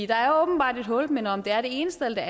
der er åbenbart et hul men om det er det ene sted eller